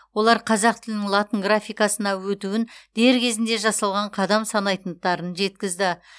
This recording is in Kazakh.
олар қазақ тілінің латын графикасына өтуін дер кезінде жасалған қадам санайтындықтарын жеткізді